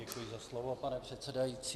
Děkuji za slovo, pane předsedající.